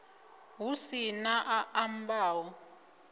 hu si na a ambaho